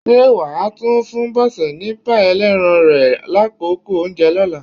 Ṣé wà á tún fún Bọ́sẹ̀ ní páì ẹlẹ́ran rẹ lákòókò oúnjẹ lọ́la?